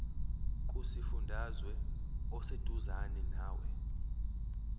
kusifundazwe oseduzane nawe